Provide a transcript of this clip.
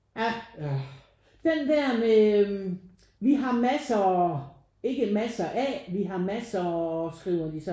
Ja den der med øh vi har massere ikke masse af vi har massere skriver de så